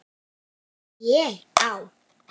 ÉG Á